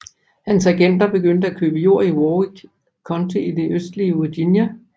Hans agenter begyndte at købe jord i Warwick County i det østlige Virginia